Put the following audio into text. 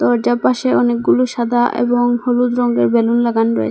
দরজার পাশে অনেকগুলু সাদা এবং হলুদ রংগের বেলুন লাগান রয়ে--